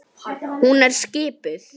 Hún er skipuð.